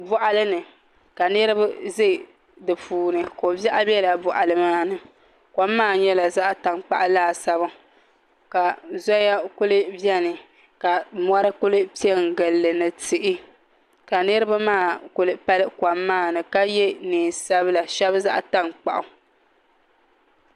Boɣali ni ka niraba ʒɛ di puuni ko biɛɣu biɛla boɣali maa ni kom maa nyɛla zaɣ tankpaɣu laasabu ka zoya kuli biɛni ka mori kuli piɛ n gilli ni tihi ka niraba maa kuli pali kom maa ni ka yɛ neen sabila shab zaɣ tankpaɣu